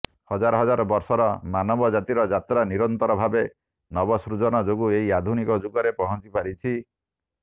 ହଜାର ହଜାର ବର୍ଷର ମାନବ ଜାତିର ଯାତ୍ରା ନିରନ୍ତର ଭାବେ ନବସୃଜନ ଯୋଗୁଁ ଏହି ଆଧୁନିକ ଯୁଗରେ ପହଂଚିପାରିଛି